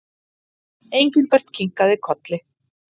Engilbert kinkaði kolli.